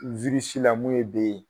la mun ye B ye